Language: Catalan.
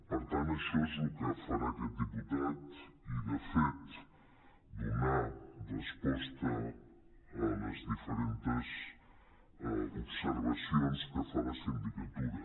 per tant això és el que farà aquest diputat i de fet donar resposta a les diferentes observa·cions que fa la sindicatura